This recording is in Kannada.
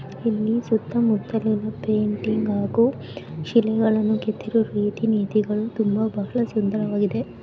ಇಲ್ಲಿ ಸುತ್ತಮುತ್ತಲಿನ ಪೇಂಟಿಂಗ್ ಹಾಗೂ ಶಿಲೆಗಳನ್ನು ಕೆತ್ತಿರುವ ರೀತಿ ನೀತಿಗಳು ತುಂಬಾ ಬಹಳ ಸುಂದರವಾಗಿದೆ.